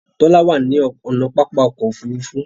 Tola wá ní ọnà pápá ọkọ̀ òfurufú.